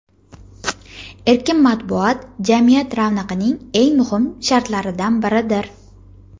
erkin matbuot – jamiyat ravnaqining eng muhim shartlaridan biridir.